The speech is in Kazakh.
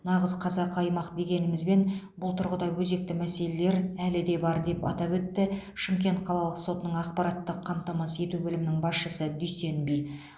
нағыз қазақы аймақ дегенімізбен бұл тұрғыда өзекті мәселелер әлі де бар деп атап өтті шымкент қалалық сотының ақпараттық қамтамасыз ету бөлімінің басшысы дүйсенби